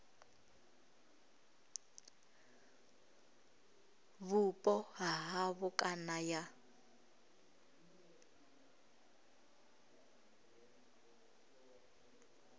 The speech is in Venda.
vhupo ha havho kana ya